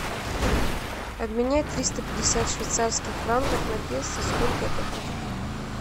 обменять триста пятьдесят швейцарских франков на песо сколько это будет